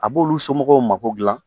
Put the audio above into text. A b'olu somɔgɔw mako dilan.